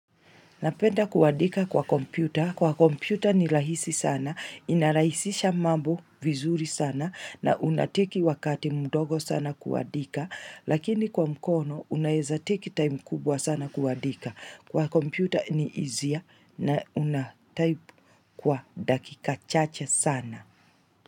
Napenda kuadika kwa kompyuta. Kwa kompyuta ni rahisi sana. Inarahisisha mambo vizuri sana na unateki wakati mdogo sana kuadika. Lakini kwa mkono unaezateki time kubwa sana kuadika. Kwa kompyuta ni izia na unataip kwa dakika chache sana.